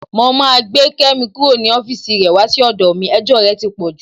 Mo máa gbé Kẹ́mi kúrò ní ọ́fíìsì rẹ wá sí ọ̀dọ̀ mi, ẹjọ́ rẹ ti pọ̀ jù.